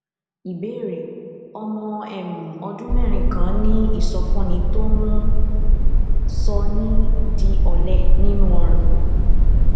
ìbéèrè ọmọ um ọdún mérin kan ní ìsọfúnni tó um ń sọni di òlẹ nínú ọrùn